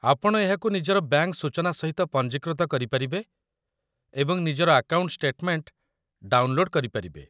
ଆପଣ ଏହାକୁ ନିଜର ବ୍ୟାଙ୍କ ସୂଚନା ସହିତ ପଞ୍ଜୀକୃତ କରିପାରିବେ ଏବଂ ନିଜର ଆକାଉଣ୍ଟ ଷ୍ଟେଟମେଣ୍ଟ ଡାଉନଲୋଡ କରିପାରିବେ